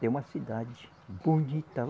Tem uma cidade bonita.